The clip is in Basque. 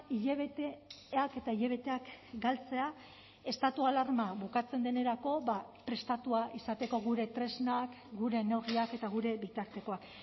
hilabeteak eta hilabeteak galtzea estatu alarma bukatzen denerako prestatua izateko gure tresnak gure neurriak eta gure bitartekoak